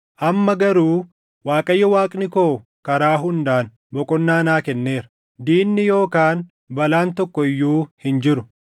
Amma garuu Waaqayyo Waaqni koo karaa hundaan boqonnaa naa kenneera; diinni yookaan balaan tokko iyyuu hin jiru.